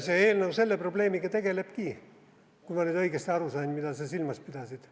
See eelnõu selle probleemiga tegelebki, kui ma nüüd õigesti aru sain, mida sa silmas pidasid.